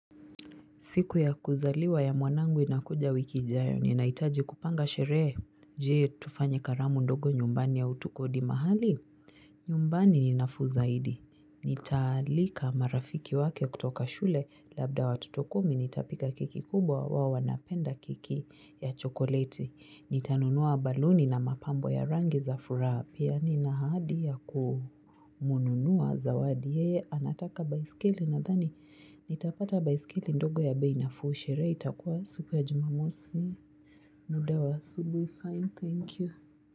Siku ya kuzaliwa ya mwanangu inakuja wiki ijayo, ni naitaji kupanga sheree. Jee, tufanye karamu ndogo nyumbani au tuko di mahali? Nyumbani ni nafuu zahidi. Nitaalika marafiki wake kutoka shule, labda watoto kumi nitapika keki kubwa wao wanapenda keki ya chokoleti. Nitanunua baluni na mapambo ya rangi za furaha. Piani na hadi ya kumununua za wadi. Yeye, anataka bicycle na thani, nitapata bicycle ndogo ya beinafuu sherehe. Itakuwa siku ya jumamosi. Muda wa asubui. Fine, thank you.